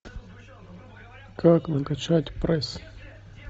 как накачать пресс